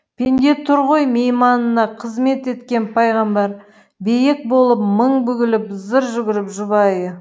пенде тұр ғой мейманына қызмет еткен пайғамбар биек болып мың бүгіліп зыр жүгіріп жұбайы